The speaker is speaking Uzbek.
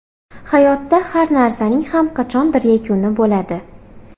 Hayotda har narsaning ham qachondir yakuni bo‘ladi.